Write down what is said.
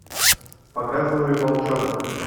показывай волчонок